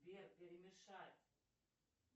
сбер перемешать